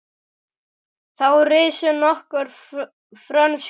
Þá risu nokkur frönsk hverfi.